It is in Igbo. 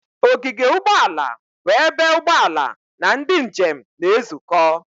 Ogige ụgbọ ala bụ ebe ụgbọ ala na ndị njem na-ezukọ.